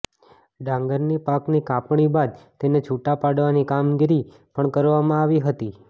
ડાંગરની પાકની કાપણી બાદ તેને છૂટા પાડવાની કામગીરી પણ કરવામા આવી હતી